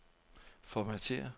Formatér.